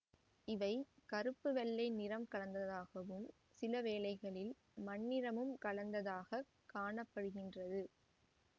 இவை கறுப்புவெள்ளை நிறம் கலந்ததாகவும் சிலவேளைகளில் மண்ணிறமும் கலந்ததாகக் காண படுகின்றது